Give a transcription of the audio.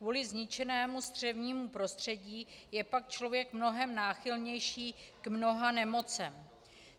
Kvůli zničenému střevnímu prostředí je pak člověk mnohem náchylnější k mnoha nemocem.